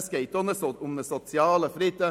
Es geht auch um einen sozialen Frieden: